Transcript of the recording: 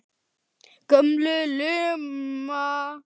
Takk fyrir lánið!